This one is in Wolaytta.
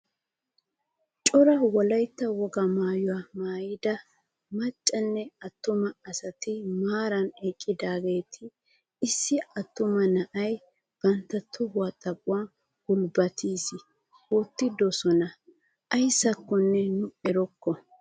Cora wolaytta wogaa maayuwaa maayida maccanne attuma asati maarara eqqidaageti issi attuma na'aa bantta tohuwaa xaphon gulbattisi wottidosona ayssakonne nu erokko.